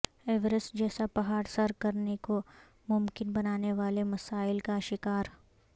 Everest جیسا پہاڑ سر کرنے کو ممکن بنانے والے مسائل کا شکار